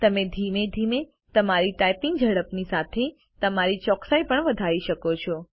તમે ધીમે ધીમે તમારી ટાઇપિંગ ઝડપની સાથે તમારી ચોકસાઈ પણ વધારી શકો છો